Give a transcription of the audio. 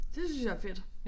Det synes jeg er fedt